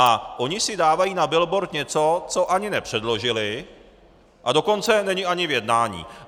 A oni si dávají na billboard něco, co ani nepředložili, a dokonce není ani v jednání.